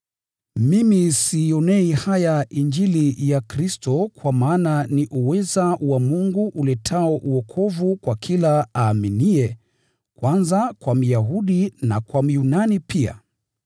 Mimi siionei haya Injili ya Kristo kwa maana ni uweza wa Mungu uletao wokovu kwa kila aaminiye, kwanza kwa Myahudi na kwa Myunani pia.